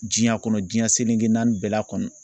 Diɲɛ kɔnɔ diɲɛ seleke naani bɛɛ la kɔnɔ